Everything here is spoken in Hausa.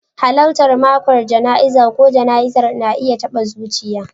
Halartar mako jana'izar ko jana'izar na iya taɓa zuciya.